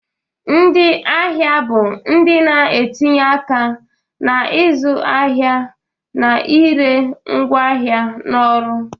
Ndị ahịa bụ ndị na-etinye aka na ịzụ ahịa na ire ngwaahịa na ọrụ